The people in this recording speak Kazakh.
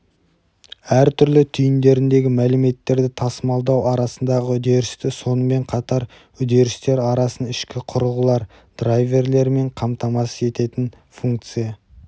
әртүрлі түйіндеріндегі мәліметтерді тасымалдау арасындағы үдерісті сонымен қатар үдерістер арасын ішкі құрылғылар драйверлерімен қамтамасыз ететін функция